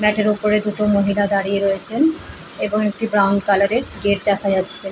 ম্যাথের উপরে দুটো মহিলা দাঁড়িয়ে রয়েছেন এবং একটি ব্রাউন কালার -এর গেট দেখা যাচ্ছে।